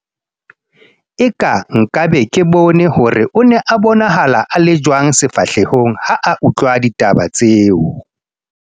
eka nka be ke bone hore o ne a bonahala a le jwang sefahlehong ha a utlwa ditaba tseo